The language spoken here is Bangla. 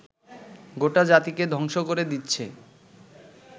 গোটা জাতিকে ধ্বংস করে দিচ্ছে